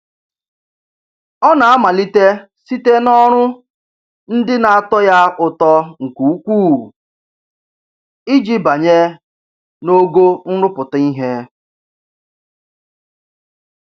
Ọ na-amalite site n'ọrụ ndị na-atọ ya ụtọ nke ukwuu iji banye n'ogo nrụpụta ihe.